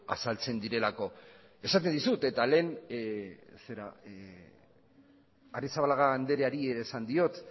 azaltzen direlako esaten dizut eta lehen arrizabalaga andreari ere esan diot